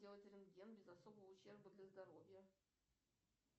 сделать рентген без особого ущерба для здоровья